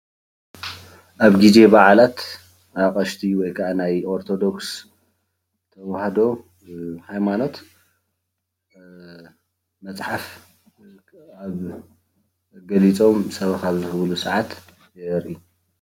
ኣብ ጊዜ በዓላት ኣቅሽቲ ወይከዓ ናይ ኦሮቶዶክስ ተዋህዶ ሃይማኖት መፅሓፍ ኣብ ገሊፆም ሰበካ ኣብ ዝህብሉ ሰዓት የርኢ።